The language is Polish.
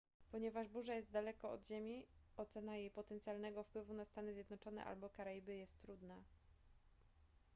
ponieważ burza jest daleko od ziemi ocena jej potencjalnego wpływu na stany zjednoczone albo karaiby jest trudna